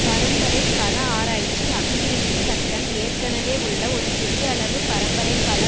பரம்பரை கல ஆராய்ச்சி அபிவிருத்தி சட்டம் ஏற்கெனவே உள்ள ஒரு சிறியளவு பரம்பரை கல